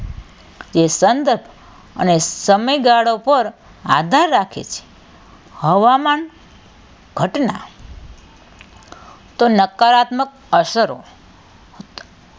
તે સંગત અને સમયગાળો પર આધાર રાખે છે હવામાન ઘટના તો નકારાત્મક અસરો